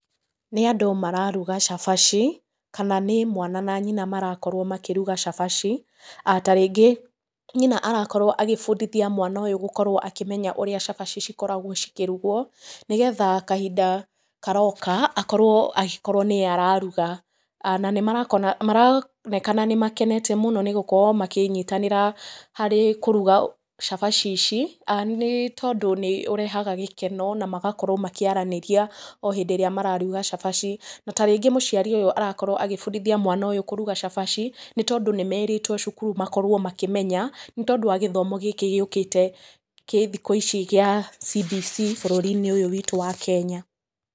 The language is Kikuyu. Nĩ andũ mararuga cabaci, kana nĩ mwana na nyina marakorwo makĩruga cabaci. Tarĩngĩ nyina arakorwo agĩbundithia mwana ũyũ gũkorwo akĩmenya ũrĩa cabaci cikoragwo cikĩrugwo, nĩgetha kahinda karoka akorwo agĩkorwo nĩ ye araruga. Na nĩ maronekana nĩ makenete mũno nĩ gũkorwo makĩnyitanĩra harĩ kũruga cabaci ici, nĩ tondũ nĩ ũrehaga gĩkeno na magakorwo makĩaranĩria o hĩndĩ ĩrĩa mararuga cabaci. Na tarĩngĩ mũciari ũyũ arakorwo agĩbundithia mwana ũyũ kũruga cabaci, nĩ tondũ nĩ meritwo cukuru makorwo makĩmenya, nĩ tondũ wa gĩthomo gĩkĩ gĩũkĩte gĩ thikũ ici gĩa CBC bũrũri-inĩ ũyũ witũ wa Kenya.